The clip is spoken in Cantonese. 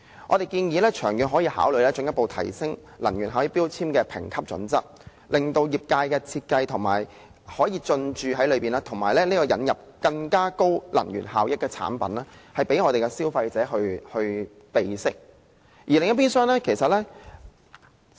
我們建議長遠可以考慮進一步提升能源標籤的評級準則，令業界可以參與設計，引入更高能源效益的產品，讓消費者備悉。